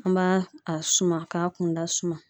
An b'a a suma k'a kunda suma